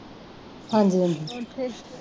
ਹਾਂਜੀ ਹਾਂਜੀ